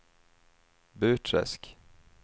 Burträsk